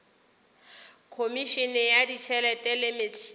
khomišene ya ditšhelete le metšhelo